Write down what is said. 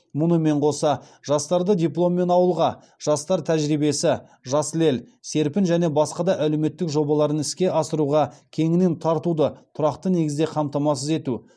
мұнымен қоса жастарды дипломмен ауылға жастар тәжірибесі жасыл ел серпін және басқа да әлеуметтік жобаларын іске асыруға кеңінен тартуды тұрақты негізде қамтамасыз ету